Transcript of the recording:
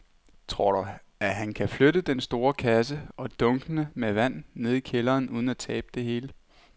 Tror du, at han kan flytte den store kasse og dunkene med vand ned i kælderen uden at tabe det hele?